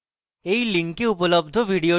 এই link উপলব্ধ video দেখুন